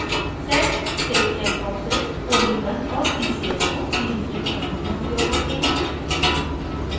set state check boxes od1 और ccs को नियंत्रित करने में उपयोग होते हैं